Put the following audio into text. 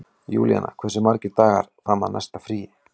Júlíanna, hversu margir dagar fram að næsta fríi?